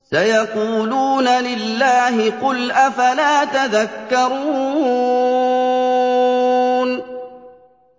سَيَقُولُونَ لِلَّهِ ۚ قُلْ أَفَلَا تَذَكَّرُونَ